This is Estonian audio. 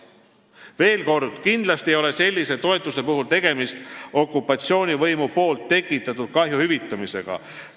Veel kord: kindlasti ei ole sellise toetuse puhul tegemist okupatsioonivõimu tekitatud kahju hüvitamisega.